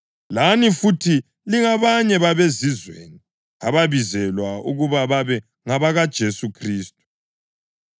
Lani futhi lingabanye babeZizweni ababizelwe ukuba babe ngabakaJesu Khristu.